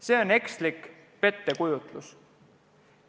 See on ekslik pettekujutlus.